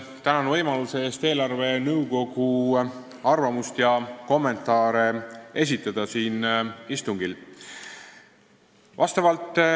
Tänan võimaluse eest siin istungil eelarvenõukogu arvamusi ja kommentaare esitada.